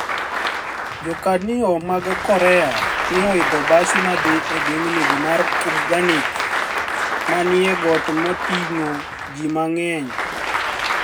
Jokaniyo mag Korea ni e oidho bas madhi e gwenig ' mar Kumganig, ma eni got motinig'o ji manig'eniy.